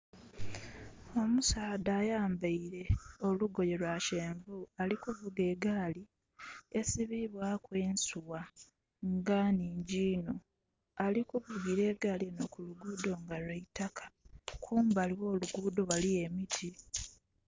Omusaadha ayambaile olugoye lwa kyenvu ali kuvuga egaali esibibwaku ensugha nga nhingi iinho. Ali kuvugira egaali kulugudho nga lweitaka, kumbali gholugudho ghaliyo emiti.